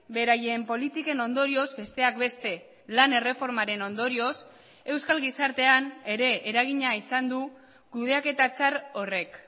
beraien politiken ondorioz besteak beste lan erreformaren ondorioz euskal gizartean ere eragina izan du kudeaketa txar horrek